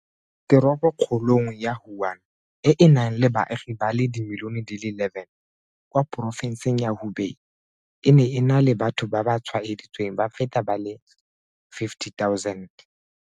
Teropokgolong ya Wuhan, e e nang le baagi ba le dimilione di le 11 kwa porofenseng ya Hubei, e ne e na le batho ba ba tshwaeditsweng ba feta ba le 50 000.